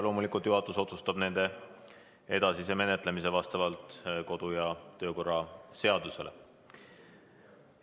Loomulikult juhatus otsustab nende edasise menetlemise vastavalt kodu- ja töökorra seadusele.